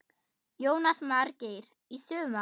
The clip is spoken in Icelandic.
Jónas Margeir: Í sumar?